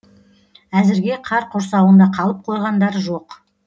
әзірге қар құрсауында қалып қойғандар жоқ